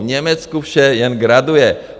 V Německu vše jen graduje.